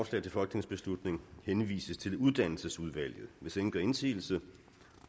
til folketingsbeslutning henvises til uddannelsesudvalget hvis ingen gør indsigelse